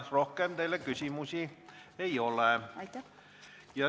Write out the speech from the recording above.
Rohkem teile küsimusi ei ole.